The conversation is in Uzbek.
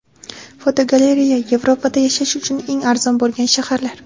Fotogalereya: Yevropada yashash uchun eng arzon bo‘lgan shaharlar.